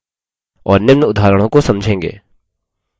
और निम्न उदाहरणों को समझेंगे: